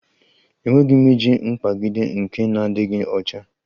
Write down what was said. Enweghị m ike iji mkpagide nke na-adịghị ọcha